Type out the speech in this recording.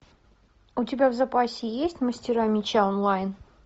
у тебя в запасе есть мастера меча онлайн